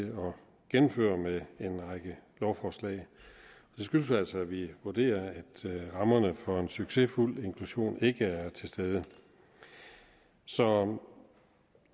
gennemføre med en række lovforslag det skyldes altså at vi vurderer at rammerne for en succesfuld inklusion ikke er til stede så